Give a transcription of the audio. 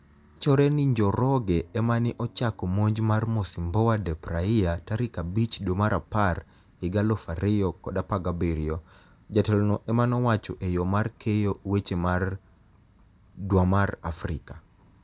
Wachore nii nijoroge emani e ochako monij mar mocimboa da praia tarik abich dwe mar apar higa2017, jatelo no emanowacho eyo mar keyo weche mar Dwmar afrika